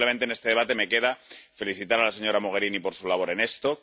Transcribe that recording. A mí simplemente en este debate me queda felicitar a la señora Mogherini por su labor en esto.